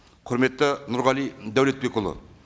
құрметті нұрғали дәулетбекұлы